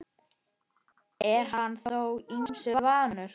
Er hann þó ýmsu vanur.